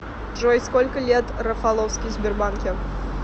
джой сколько лет рафаловский в сбербанке